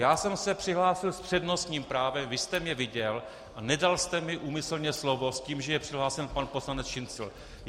Já jsem se přihlásil s přednostním právem, vy jste mě viděl a nedal jste mi úmyslně slovo s tím, že je přihlášen pan poslanec Šincl.